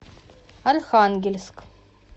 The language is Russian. архангельск